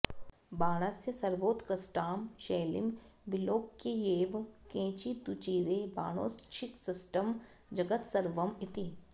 बाणस्य सर्वोत्कृष्टां शैलीं विलोक्यैव केचिदूचिरे बाणोच्छिष्टं जगत्सर्वम् इति